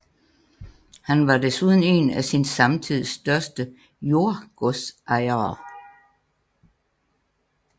Han var desuden en af sin samtids største jordgodsejere